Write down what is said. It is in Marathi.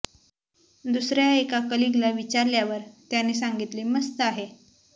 दुसर्या एका कलिगला विचारल्यावर त्याने सांगितले मस्त आहे